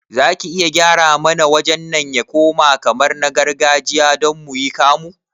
Zaki iya gyara mana wajen nan ya koma kamar na gargajiya don muyi kamu?